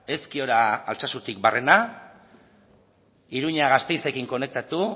ezkiora altsasutik barrena iruña gasteizekin konektatu